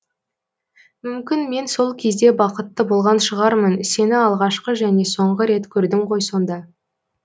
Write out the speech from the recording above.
мүмкін мен сол кезде бақытты болған шығармын сені алғашқы және соңғы рет көрдім ғой сонда